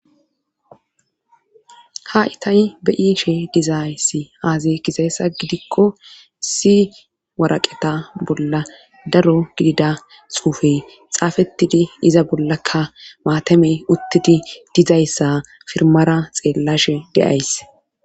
ha itay be'ishe dizayssi aazay gizayssa gidikko si waraqeta bolla daro gidida xuufey xaafettidi iza bollakka maatamey uttidi dizayssa firmara xeellashe deays